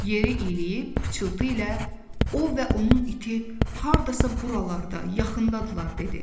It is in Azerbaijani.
Yeri iyləyib, pıçıltı ilə o və onun iti hardasa buralarda, yaxındadırlar dedi.